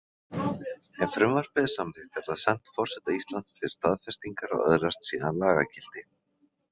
Ef frumvarpið er samþykkt er það sent forseta Íslands til staðfestingar og öðlast síðan lagagildi.